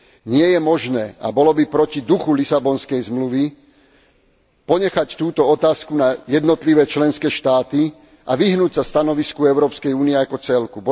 Nie je možné a bolo by proti duchu Lisabonskej zmluvy ponechať túto otázku na jednotlivé členské štáty a vyhnúť sa stanovisku Európskej únie ako celku.